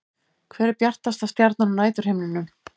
Hver er bjartasta stjarnan á næturhimninum?